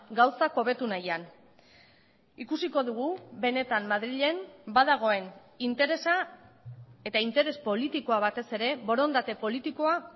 gauzak hobetu nahian ikusiko dugu benetan madrilen ba dagoen interesa eta interes politikoa batez ere borondate politikoa